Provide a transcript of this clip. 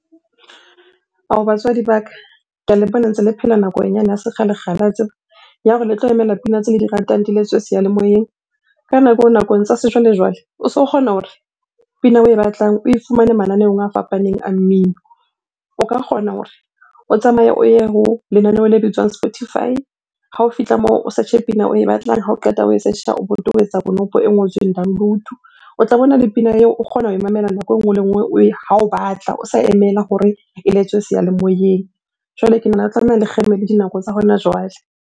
Ao, batswadi ba ka. Ke a le bona ntse le phela nakong yane ya sekgale-kgale wa tseba. Ya hore le tlo emela pina tse le di ratang di le tswe seyalemoyeng. Ka nako eo nakong tsa sejwalejwale, o so kgona hore pina oe batlang oe fumane mananeong a fapaneng a mmino. O ka kgona hore o tsamaye o ye ho lenaneo le bitswang spotify, ha o fihla moo o search-e pina oe batlang. Ha o qeta ho e search-a, o bo tobetsa konopo e ngotsweng download-o. O tla bona le pina eo, o kgona ho mamela nako e nngwe le nngwe ha o batla, o sa emela hore eletswe seyalemoyeng. Jwale ke nahana e tlameha le kgeme le dinako tsa hona jwale.